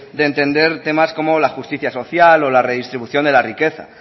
de entender temas como la justicia social o la redistribución de la riqueza